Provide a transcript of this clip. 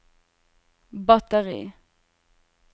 batteri